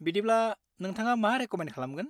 बिदिब्ला, नोंथाङा मा रेक'मेन्द खालामगोन।